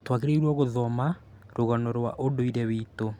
Twagĩrĩirwo gũthomarũgano rwa ũndũire witũ